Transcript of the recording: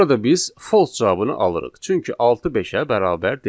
Burada biz false cavabını alırıq, çünki altı beşə bərabər deyil.